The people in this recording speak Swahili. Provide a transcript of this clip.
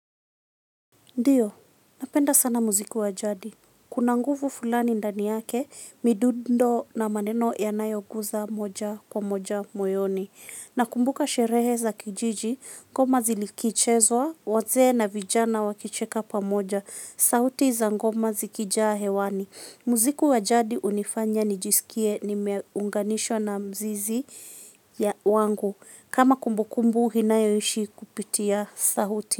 Ndiyo, napenda sana muziki wajadi. Kuna nguvu fulani ndani yake, midundo na maneno yanayo guza moja kwa moja moyoni. Na kumbuka sherehe za kijiji, ngoma zilikichezwa, waze na vijana wakicheka pa moja. Sauti za ngoma zikijaa hewani. Muziki wajadi unifanya nijisikie ni meunganishwa na mzizi wangu. Kama kumbukumbu, hinayoishi kupitia sauti.